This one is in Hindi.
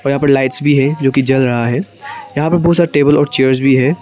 और यहां पर लाइट्स भी है जो जल रहा है यहां पे बहुत सारा टेबल और चेयर भी हैं।